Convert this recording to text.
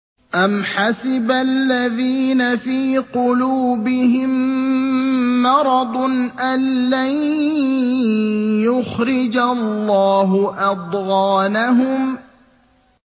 أَمْ حَسِبَ الَّذِينَ فِي قُلُوبِهِم مَّرَضٌ أَن لَّن يُخْرِجَ اللَّهُ أَضْغَانَهُمْ